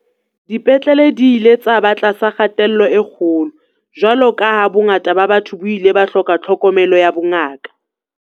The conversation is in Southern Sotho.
Dipetlele di ile tsa ba tlasa kgatello e kgolo jwalo ka ha bongata ba batho bo ile ba hloka tlhokomelo ya bongaka.